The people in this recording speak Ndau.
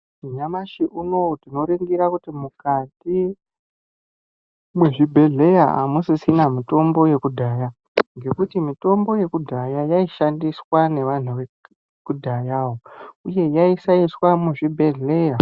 Nyamashi unoyu tinoringira kuti mukati mwezvibhedhlera hamusisina mitombo yekudhaya, ngekuti mitombo yekudhaya yaishandiswa nevantu vekudhayawo uye yaisaiswa muzvibhedhlera.